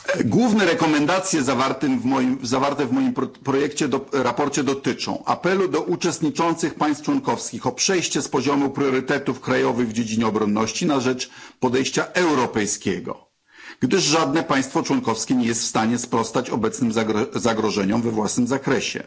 Główne rekomendacje zawarte w moim sprawozdaniu dotyczą apelu do uczestniczących państw członkowskich o przejście z poziomu priorytetów krajowych w dziedzinie obronności na rzecz podejścia europejskiego, gdyż żadne państwo członkowskie nie jest w stanie sprostać obecnym zagrożeniom we własnym zakresie.